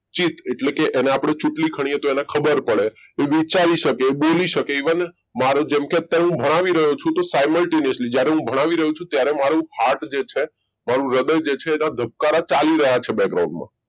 એટલે કે એને આપણે ચૂંટણી ખનીએ તો એને ખબર પડે એ વિચારી શકે બોલી શકે even જેમકે હું અત્યારે ભણાવી રહ્યો છું તો સાયમેલ્ટીનેશન જ્યારે હું બનાવી રહ્યો છું ત્યારે મારો હાથ જે છે હૃદય જે છે એના ધબકારા ચાલી રહ્યા છે